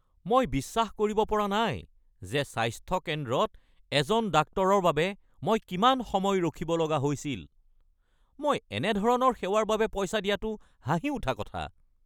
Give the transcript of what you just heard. মই বিশ্বাস কৰিব পৰা নাই যে স্বাস্থ্য কেন্দ্ৰত এজন ডাক্তৰৰ বাবে মই কিমান সময় ৰখিব লগা হৈছিল! মই এনে ধৰণৰ সেৱাৰ বাবে পইচা দিয়াটো হাঁহি উঠা কথা।